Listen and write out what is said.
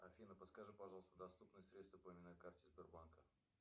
афина подскажи пожалуйста доступные средства по именной карте сбербанка